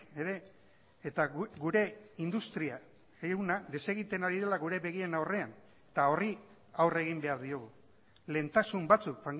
ere eta gure industria ehuna desegiten ari dela gure begien aurrean eta horri aurre egin behar diogu lehentasun batzuk